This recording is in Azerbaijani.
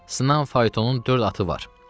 Sınan faytonun dörd atı var.